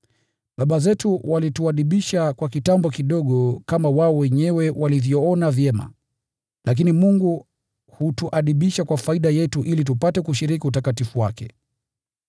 Baba zetu walituadibisha kwa kitambo kidogo kama wao wenyewe walivyoona vyema, lakini Mungu hutuadibisha kwa faida yetu ili tupate kushiriki utakatifu wake.